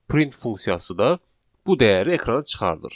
Print funksiyası da bu dəyəri ekrana çıxardır.